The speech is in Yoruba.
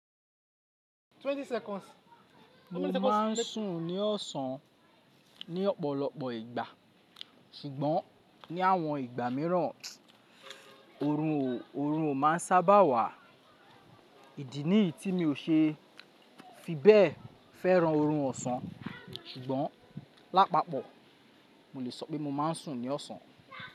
Mo ma n sùn ní ọ̀sán ní ọ̀pọ̀lọpọ̀ ìgbà, ṣùgbọ́n ní àwọn ìgbà mìíràn orun o ma n sábà wà. Ìdí nì ti mi ò se fi bẹ fẹ́ran orun ọ̀sán, ṣùgbọ́n lápapọ̀ mo le sọ pé mo ma n sùn ní ọ̀sán.